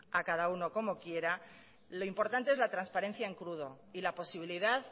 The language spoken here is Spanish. a cada uno como quiera lo importante es la transparencia en crudo y la posibilidad